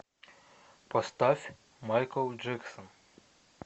поставь майкл джексон